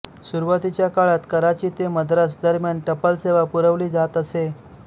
सुरूवातीच्या काळात कराची ते मद्रास दरम्यान टपालसेवा पुरवली जात असे